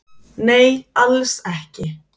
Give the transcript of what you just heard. Nei alls ekki.